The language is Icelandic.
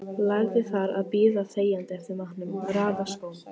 Lærði þar að bíða þegjandi eftir matnum, raða skóm.